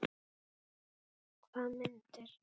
Hvaða myndir?